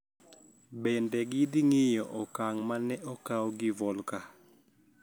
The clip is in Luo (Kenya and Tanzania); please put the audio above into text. Bende gidhing`iyo okang` ma ne okaw gi Volker